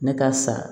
Ne ka sa